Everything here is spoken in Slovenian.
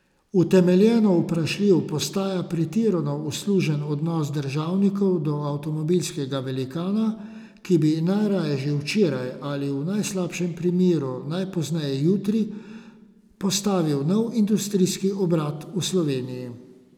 Utemeljeno vprašljiv postaja pretirano uslužen odnos državnikov do avtomobilskega velikana, ki bi najraje že včeraj ali v najslabšem primeru najpozneje jutri postavil nov industrijski obrat v Sloveniji.